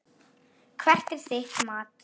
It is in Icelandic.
Hvert er þitt mat?